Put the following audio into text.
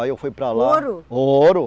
Aí eu fui para lá... Ouro? ouro